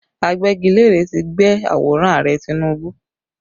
Agbẹ́gilére tí gbẹ́ àwòrán Ààrẹ Tinubu